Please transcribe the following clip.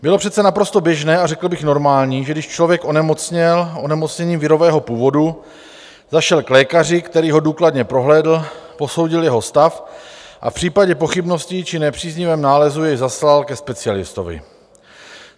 Bylo přece naprosto běžné a řekl bych normální, že když člověk onemocněl onemocněním virového původu, zašel k lékaři, který ho důkladně prohlédl, posoudil jeho stav a v případě pochybností či nepříznivého nálezu jej zaslal ke specialistovi.